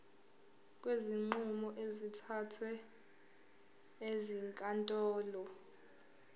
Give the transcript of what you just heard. kwezinqumo ezithathwe ezinkantolo